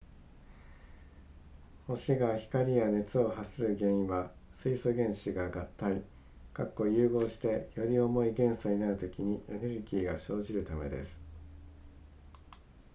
星が光や熱を発する原因は水素原子が合体融合してより重い元素になるときにエネルギーが生じるためです